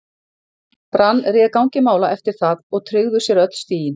Brann réði gangi mála eftir það og tryggðu sér öll stigin.